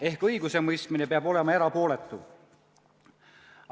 Ehk õigusemõistmine peab olema erapooletu.